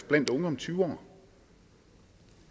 blandt unge om tyve år